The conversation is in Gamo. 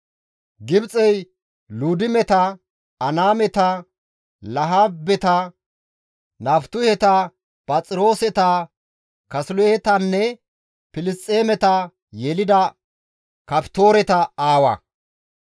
Gibxey Luudimeta, Anaameta, Lahaabeta, Naftuheta, Phaxirooseta, Kaasiluhetanne Filisxeemeta yelida Kaftooreta aawa.